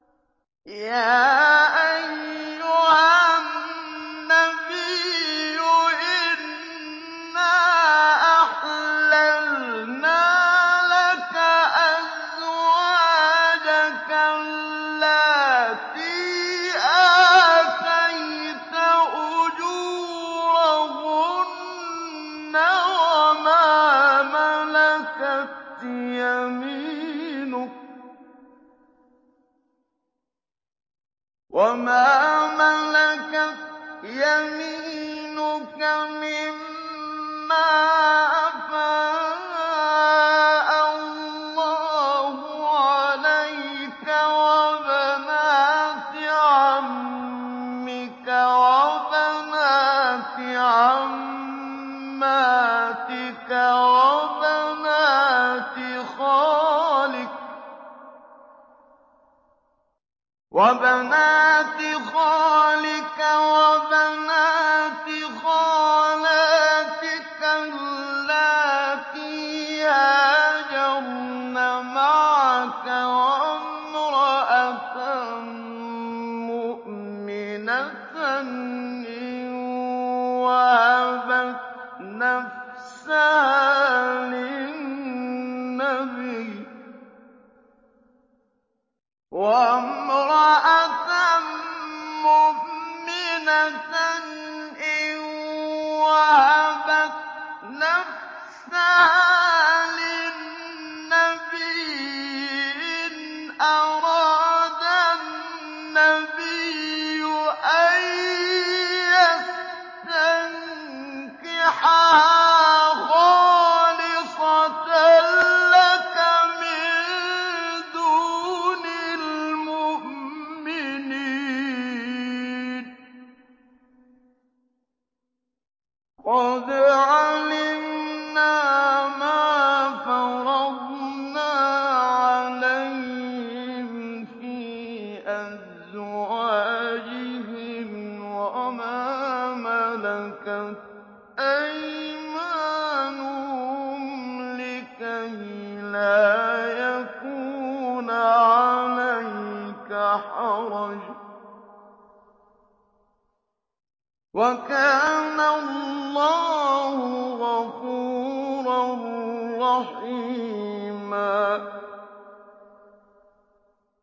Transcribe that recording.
يَا أَيُّهَا النَّبِيُّ إِنَّا أَحْلَلْنَا لَكَ أَزْوَاجَكَ اللَّاتِي آتَيْتَ أُجُورَهُنَّ وَمَا مَلَكَتْ يَمِينُكَ مِمَّا أَفَاءَ اللَّهُ عَلَيْكَ وَبَنَاتِ عَمِّكَ وَبَنَاتِ عَمَّاتِكَ وَبَنَاتِ خَالِكَ وَبَنَاتِ خَالَاتِكَ اللَّاتِي هَاجَرْنَ مَعَكَ وَامْرَأَةً مُّؤْمِنَةً إِن وَهَبَتْ نَفْسَهَا لِلنَّبِيِّ إِنْ أَرَادَ النَّبِيُّ أَن يَسْتَنكِحَهَا خَالِصَةً لَّكَ مِن دُونِ الْمُؤْمِنِينَ ۗ قَدْ عَلِمْنَا مَا فَرَضْنَا عَلَيْهِمْ فِي أَزْوَاجِهِمْ وَمَا مَلَكَتْ أَيْمَانُهُمْ لِكَيْلَا يَكُونَ عَلَيْكَ حَرَجٌ ۗ وَكَانَ اللَّهُ غَفُورًا رَّحِيمًا